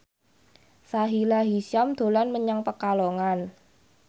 Sahila Hisyam dolan menyang Pekalongan